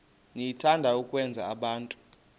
niyathanda ukwenza abantu